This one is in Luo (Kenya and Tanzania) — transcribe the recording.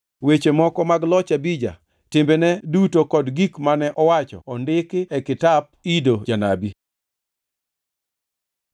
Weche moko mag loch Abija, timbene duto kod gik mane owacho ondiki e kitap Ido janabi.